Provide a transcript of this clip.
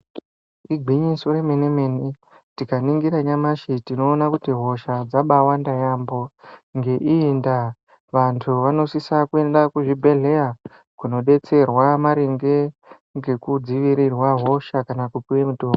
Igwinyiso remene mene tikaningira nyamashi tinoona kuti hosha yakawanda yambo ngeiyi nda vantu vanosisa kuenda kuzvibhedhlera kundodetserwa maringe nekudzivirirwa hosha kana kupuwa mutombo.